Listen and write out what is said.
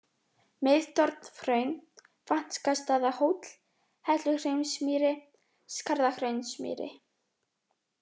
Mið-Torfhraun, Vagnstaðahóll, Helluhraunsmýri, Skarðahraunsmýri